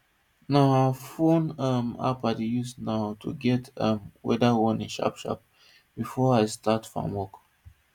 na phone um app i dey use now to get um weather warning sharpsharp before i start farm work